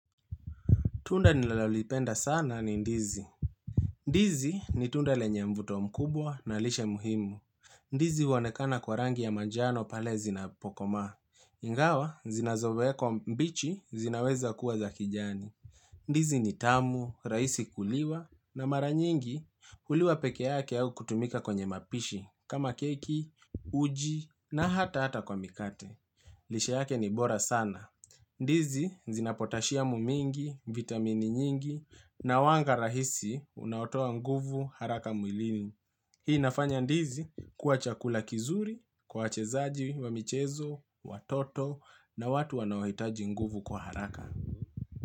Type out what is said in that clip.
Tunda nilalolipenda sana ni Ndizi. Ndizi ni tunda lenye mvuto mkubwa na lishe muhimu. Ndizi huonekana kwa rangi ya majano pale zinapokoma. Ingawa, zinazowekwa mbichi zinaweza kuwa za kijani. Ndizi ni tamu, raisi kuliwa, na maranyingi huliwa peke yake au kutumika kwenye mapishi, kama keki, uji, na hata hata kwa mikate. Lishe yake ni bora sana. Ndizi zinapotashiamu mingi, vitamini nyingi na wanga rahisi unautoa nguvu haraka mwilini. Hii inafanya ndizi kwa chakula kizuri, kwa wachezaji wa michezo, watoto na watu wanaohitaji nguvu kwa haraka.